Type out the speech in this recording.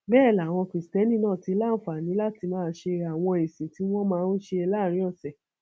bẹẹ làwọn kristẹni náà ti láǹfààní láti máa ṣe àwọn ìsìn tí wọn máa ń ṣe láàrin ọsẹ